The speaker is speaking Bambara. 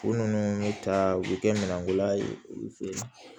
U ninnu bɛ ta u bɛ kɛ minɛnko la ye